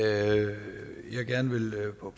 kunne